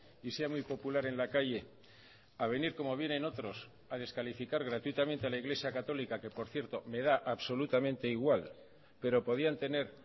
y sea muy popular en la calle a venir como vienen otros a descalificar gratuitamente a la iglesia católica que por cierto me da absolutamente igual pero podían tener